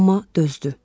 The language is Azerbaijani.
Amma dözdü.